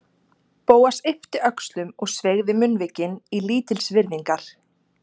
Bóas yppti öxlum og sveigði munnvikin í lítilsvirðingar